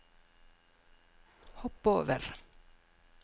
hopp over